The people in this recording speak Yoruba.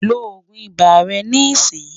lọ ogún ibà rè ní ìsìn